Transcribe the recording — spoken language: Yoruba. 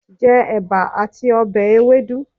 Je Eba ati obe Ewedu